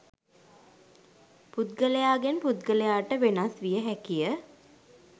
පුද්ගලයාගෙන් පුද්ගලයාට වෙනස් විය හැකිය.